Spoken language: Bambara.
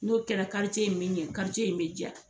N'o kɛra karice in be ɲɛ kari in be ja